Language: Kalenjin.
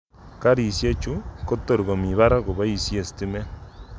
Karisiek chu kotorkomii parak koboisie stimet.